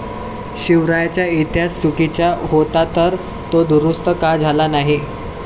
शिवरायांचा इतिहास चुकीचा होता तर, तो दुरुस्त का झाला नाही?'